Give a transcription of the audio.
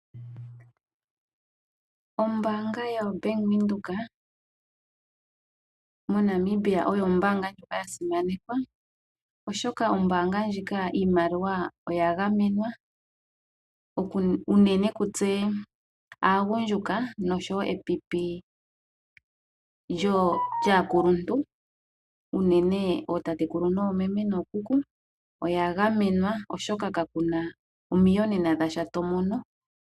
Ombanga yoBank Windhoek moNamibia oyo ombanga ya simanekwa. Oshoka ombanga ndjika iimaliwa oya gamenwa. Unene kutse aagundjuka noshowo epipi lyaakuluntu. Unene ootatekulu noomeme nookuku oya gamenwa oshoka kakuna omiiyonene dhasha to mono.